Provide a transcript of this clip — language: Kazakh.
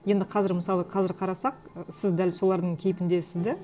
енді қазір мысалы қазір қарасақ ы сіз дәл солардың кейпіндесіз де